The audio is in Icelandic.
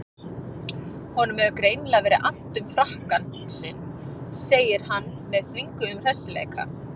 Honum hefur greinilega verið annt um frakkann sinn, segir hann með þvinguðum hressileika.